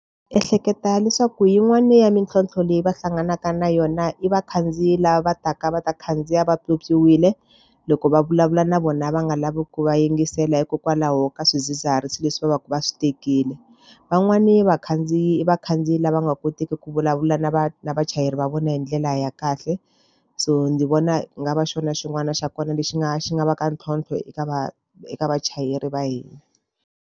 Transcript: Ehleketa leswaku yin'wani ya mintlhontlho leyi va hlanganaka na yona i vakhandziyi lava va taka va ta khandziya va pyopyiwile. Loko va vulavula na vona va nga lavi ku va yingisela hikokwalaho ka swidzidziharisi leswi va va ka va swi tekile. Van'wani vakhandziyi i vakhandziyi lava nga koteki ku vulavula na na vachayeri va vona hi ndlela ya kahle. So ndzi vona ku nga va xona xin'wana xa kona lexi nga xi nga va ka ntlhontlho eka eka vachayeri va hina.